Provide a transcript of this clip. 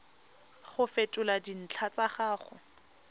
go fetola dintlha tsa gago